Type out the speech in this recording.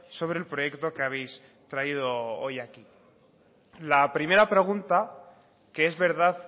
sobre el proyecto que habéis traído hoy aquí la primera pregunta que es verdad